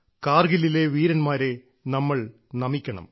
കാർഗിലിലെ വീരന്മാരെ നമ്മൾ നമിക്കണം